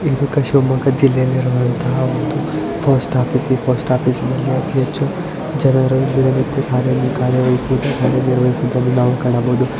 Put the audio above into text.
ಇದು ಒಂದು ಶಿವಮೊಗ್ಗ ಜಿಲ್ಲೆಯಲ್ಲಿ ಇರುವಂತಹ ಒಂದು ಪೋಸ್ಟ್ ಆಫೀಸ್ ಈ ಪೋಸ್ಟ್ ಓಫೀಸ್ ಅಲ್ಲಿ ತುಂಬ ಜನರು ಹಲವ ಕಾರ್ಯವಹಿಸಿರುವುದಾನ್ನ ನಾವಿ ಇಲ್ಲಿ ಕಾಣ ಬಹುದು.